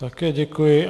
Také děkuji.